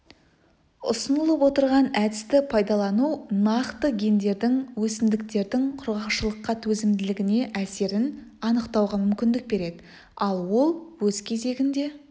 ұсынылып отырған әдісті пайдалану нақты гендердің өсімдіктердің құрғақшылыққа төзімділігіне әсерін анықтауға мүмкіндік береді ал ол өз кезегінде